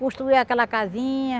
Construiu aquela casinha.